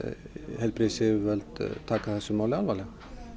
heilbrigðisyfirvöld taki þetta alvarlega